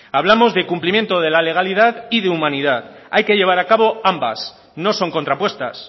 hablamos de cumplimiento de la legalidad y de humanidad hay que llevar acabo ambas no son contrapuestas